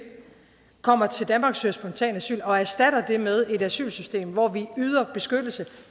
kommer til danmark og søger spontant asyl og erstatte det med et asylsystem hvor vi yder beskyttelse